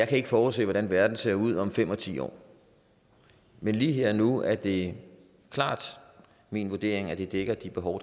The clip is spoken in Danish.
kan forudse hvordan verden ser ud om fem og ti år men lige her og nu er det klart min vurdering at det dækker de behov